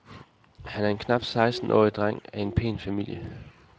Han er en knap sekstenårig dreng af en pæn familie.